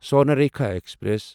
Swarnarekha express